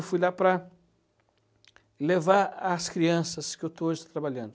Eu fui lá para levar as crianças que eu estou hoje trabalhando.